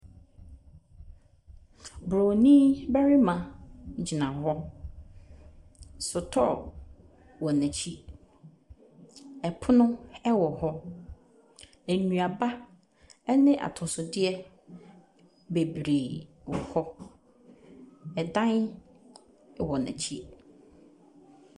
Bronin barima gyina hɔ. Sotɔɔ wɔ n’akyi, pono wɔ hɔ. Nnuaba ne atɔsodeɛ bebree wɔ hɔ. Dan wɔ n’akyi.